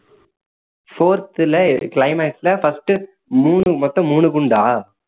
fourth ல climax ல first மூணு மொத்தம் மூணு குண்டா